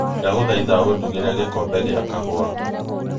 ndagũthaitha ũndugĩre gikombe ia kahũa